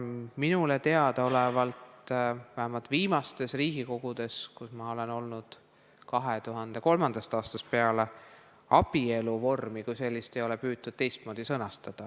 Minule teadaolevalt ei ole vähemalt viimastes Riigikogu koosseisudes, kus ma olen olnud 2003. aastast peale, püütud abielu vormi kui sellist teistmoodi sõnastada.